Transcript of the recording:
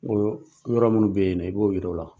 yɔrɔ minnu bɛ yen nɔ, i b'o yira o la.